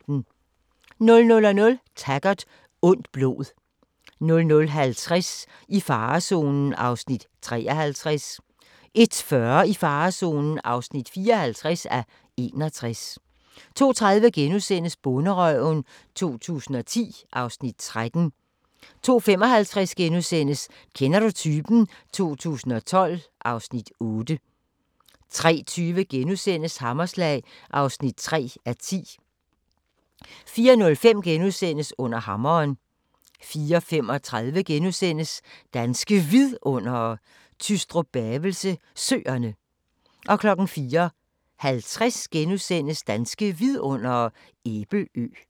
00:00: Taggart: Ondt blod 00:50: I farezonen (53:61) 01:40: I farezonen (54:61) 02:30: Bonderøven 2010 (Afs. 13)* 02:55: Kender du typen? 2012 (Afs. 8)* 03:20: Hammerslag (3:10)* 04:05: Under hammeren * 04:35: Danske Vidundere: Tystrup-Bavelse Søerne * 04:50: Danske Vidundere: Æbelø *